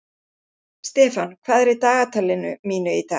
Stefán, hvað er í dagatalinu mínu í dag?